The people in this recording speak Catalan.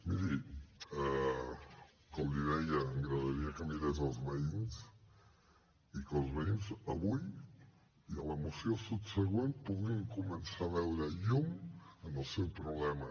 miri com li deia m’agradaria que mirés els veïns i que els veïns avui i a la moció subsegüent puguin començar a veure llum en el seu problema